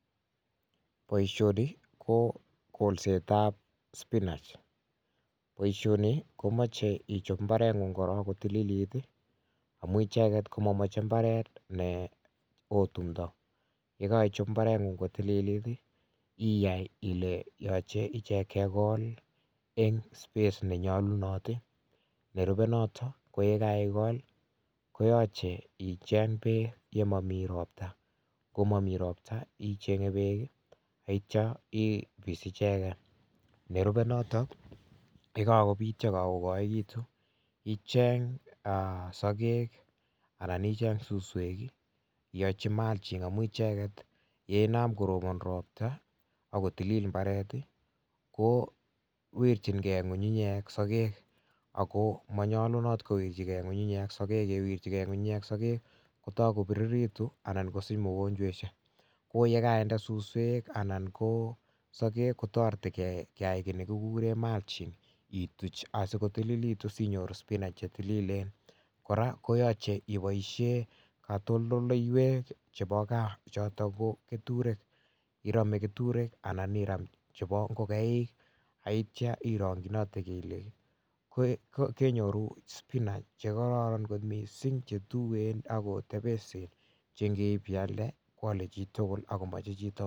Boishoni ko kolset ab spinach boishoni komochei ichop imbarengung korok kotililit amun icheget komamochei imbaret neoo tumdo nekaichop imbarengung kotililit iyai ile yochei ichek kekol eng space nenyalunot nerubei noto koyekaikol koyochei icheng beek yemomitei ropta, komii ropta ichenge beek ityo ipis icheget nerupei noto yekakopitcho kakokoikitu icheng sokek anan icheng susweek iyochi mulching amun icheket yeinaam koropon ropta akotilil imbaret kowekchingei ngungunyek sokek ako manyolunot kowekchingei ngunginyek sokek, amun yewekchingei ngungunyek sokek kotou kopirieitu anan kosich mogonjwekshek ko yekainde susweek anan sokek kotoreti keyai kii nekikuree mulching ituch asikotililitu sinyoru spinach chetililen kora koyochei iboishee katoldoleiwek chebo kaa choto ko keturek irome keturek anan iram chebo ngokaik aityairongchinote kelyek inyoruu spinach chekororon kot mising chetuen akotebesen chengiip nyialde kooolei chitugul Ako mochei chito